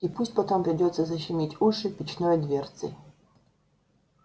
и пусть потом придётся защемить уши печной дверцей